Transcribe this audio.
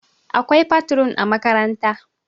akwai fatrun a makaranta